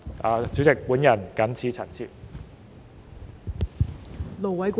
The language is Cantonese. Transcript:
代理主席，我謹此陳辭。